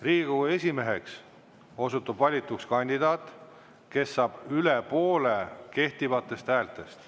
Riigikogu esimeheks osutub valituks kandidaat, kes saab üle poole kehtivatest häältest.